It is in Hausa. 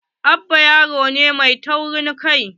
Abba yaro ne mai taurin kai.